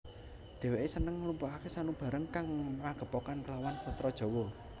Dhèwèké seneng ngumpulaké samubarang kang magepokan klawan sastra Jawa